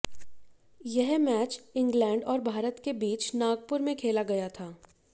यह match England और भारत के बीच नागुपर में खेला गया था